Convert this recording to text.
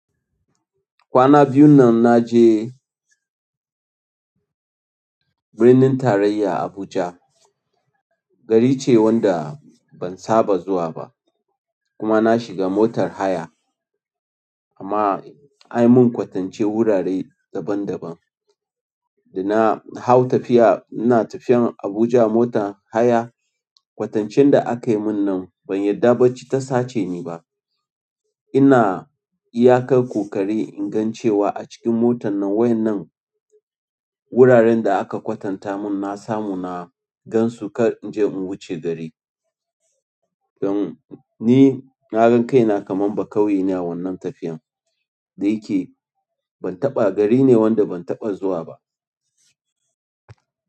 Kwana biyun nan naje birnin tarayya Abuja. Gari ce wanda ban saba zuwa ba kuma na shiga motar haya amma an yi mun kwatancen wurare daban daban. Da na hau tafiya in na tafiyan Abuja a motar haya kwatancen da aka yi mun nan ban yarda barci ta sace ni ba. In na iyakar kukari in gan cewa a cikin motan nan wayan nan wuraren da aka kwatanta mun na samu na gansu kar in je in wuce gari. Dan ni na gan kaina kaman baƙauye ne a wannan tafiyan, da yake ban taɓa, gari ne wanda ban taɓa zuwa ba.